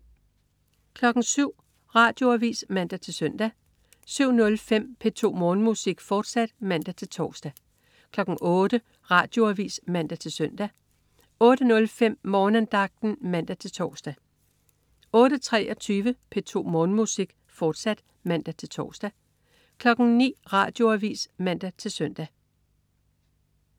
07.00 Radioavis (man-søn) 07.05 P2 Morgenmusik, fortsat (man-tors) 08.00 Radioavis (man-søn) 08.05 Morgenandagten (man-tors) 08.23 P2 Morgenmusik, fortsat (man-tors) 09.00 Radioavis (man-søn)